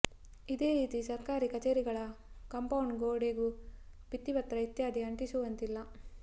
ಇದೇ ರೀತಿ ಸರ್ಕಾರಿ ಕಚೇರಿಗಳ ಕಾಂಪೌಂಡ್ ಗೋಡೆಗೂ ಭಿತ್ತಿಪತ್ರ ಇತ್ಯಾದಿ ಅಂಟಿಸುವಂತಿಲ್ಲ